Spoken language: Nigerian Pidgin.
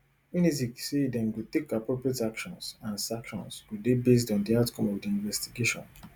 unizik say dem go take appropriate actions and sanctions go dey based on di outcome of di investigation